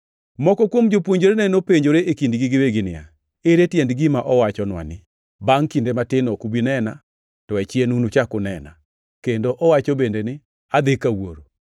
Moko kuom jopuonjrene nopenjore e kindgi giwegi niya, “Ere tiend gima owachonwa ni, ‘Bangʼ kinde matin ok ubi nena, to achien unuchak unena,’ kendo owacho bende ni ‘adhi ka Wuoro’?”